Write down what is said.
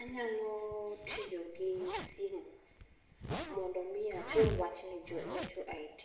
Anyalo tiyo gi simu, mondo mi achor wachni ni jo IT.